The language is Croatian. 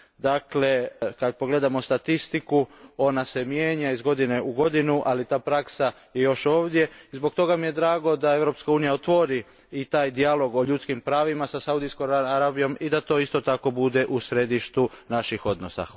Dakle, kad pogledamo statistiku, ona se mijenja iz godine u godinu, ali ta praksa je još ovdje i zbog toga mi je drago da Europska unija otvori i taj dijalog o ljudskim pravima sa Saudijskom Arabijom i da to isto tako bude u središtu naših odnosa.